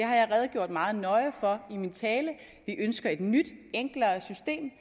har jeg redegjort meget nøje for i min tale vi ønsker et nyt enklere system